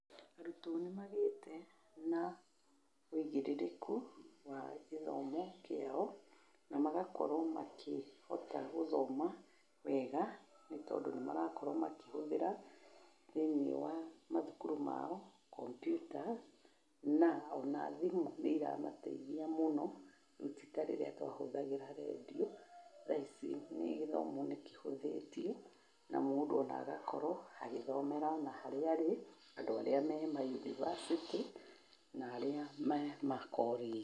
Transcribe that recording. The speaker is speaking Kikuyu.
Arutwo nĩmagĩte na wĩigĩrĩrĩku wa gĩthomo kĩao na magakorwo makĩhota kũgothoma wega nĩ tondũ nĩ marakorwo makĩhũthĩra thĩinĩ wa macukuru mao kompiuta na ona thimũ nĩ iramateithia mũno rĩũ ti ta rĩrĩa twatũmagĩra redio thaa ici gĩthomo nĩkĩhũthĩtio ,na mũndũ ona agakorwo agĩthomera ona harĩa arĩ, andũ arĩa me mayunibacĩtĩ na arĩa me makorĩnjĩ.